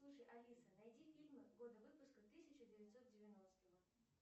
слушай алиса найди фильмы года выпуска тысяча девятьсот девяностого